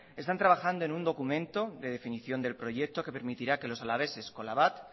están trabajando en un documento de definición del proyecto que permitirá que los alaveses con la bat